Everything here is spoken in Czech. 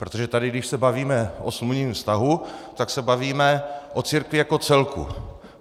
Protože tady když se bavíme o smluvním vztahu, tak se bavíme o církvi jako celku.